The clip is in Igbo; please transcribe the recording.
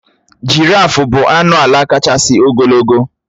Jìráfù bụ anụ álà káchásị ogologo.